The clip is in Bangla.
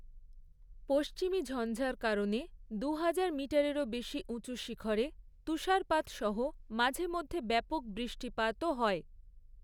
পশ্চিমী ঝঞ্ঝার কারণে দুহাজার মিটারেরও বেশি উঁচু শিখরে তুষারপাত সহ মাঝেমধ্যে ব্যাপক বৃষ্টিপাতও হয়।